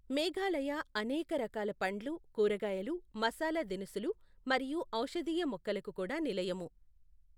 మేఘాలయ అనేక రకాల పండ్లు, కూరగాయలు, మసాలా దినుసులు, మరియు ఔషధీయ మొక్కలకు కూడా నిలయము.